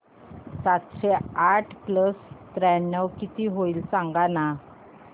सातशे आठ प्लस त्र्याण्णव किती होईल सांगना